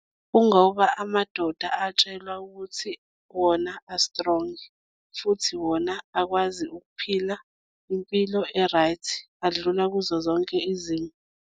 Kungoba amadoda atshelwa ukuthi wona a-strong, futhi wona akwazi ukuphila impilo e-right, adlula kuzo zonke izimo.